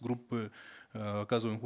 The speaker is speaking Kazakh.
группы э оказываемых